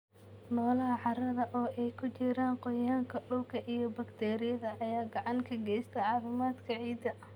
Noolaha carrada, oo ay ku jiraan gooryaanka dhulka iyo bakteeriyada, ayaa gacan ka geysta caafimaadka ciidda.